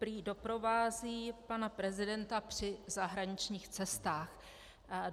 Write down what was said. Prý doprovází pana prezidenta při zahraničních cestách.